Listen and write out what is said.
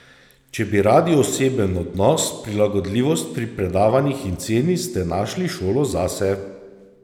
Če bi radi oseben odnos, prilagodljivost pri predavanjih in ceni, ste našli šolo zase!